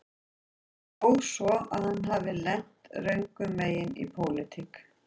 Þó svo að hann hafi lent röngum megin í pólitík